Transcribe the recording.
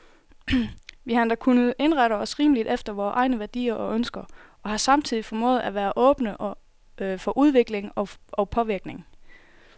Vi har endda kunnet indrette os rimeligt efter vore egne værdier og ønsker, og har samtidig formået at være åbne for udvikling og påvirkning.